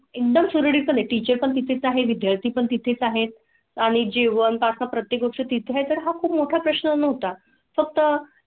Industries city चे पण तिथेच आहे. विद्यार्थी पण तिथेच आहेत आणि जीवनाचा प्रत्यक्ष तिथे तर हा खूप मोठा प्रश्न नव्हता फक्त.